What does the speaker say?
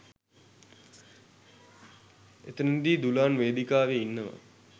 එතනදී දුලාන් වේදිකාවේ ඉන්නවා